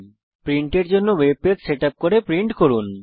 প্রিন্টের জন্য web page setup করে তা প্রিন্ট করুন